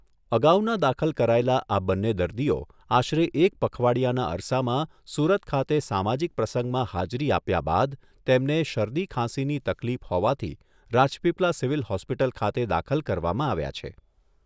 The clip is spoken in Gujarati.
અગાઉના દાખલ કરાયેલા આ બન્ને દર્દીઓ આશરે એક પખવાડિયાના અરસામાં સુરત ખાતે સામાજિક પ્રસંગમાં હાજરી આપ્યા બાદ તેમને શરદી ખાંસીની તકલીફ હોવાથી રાજપીપલા સિવીલ હોસ્પિટલ ખાતે દાખલ કરવામાં આવ્યાં છે.